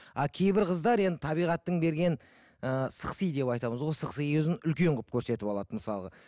а кейбір қыздар енді табиғаттың берген ы сықси деп айтамыз ғой сықси көзін үлкен қылып көрсетіп алады мысалға